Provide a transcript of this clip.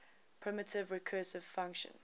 primitive recursive function